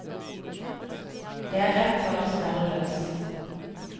Det er rett før det smeller løs.